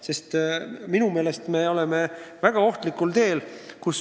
Sest minu meelest me oleme väga ohtlikul teel.